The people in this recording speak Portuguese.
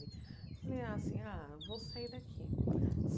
Falei assim, ah, vou sair daqui.